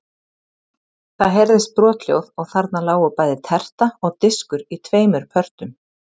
Það heyrðist brothljóð og þarna lágu bæði terta og diskur í tveimur pörtum.